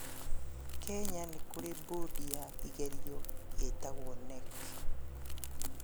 Kenya nĩ kũri mbũndi ya igeranio ĩtagwo KNEC